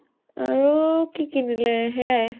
আৰু কি কিনিলে, সেইয়ায়ে ।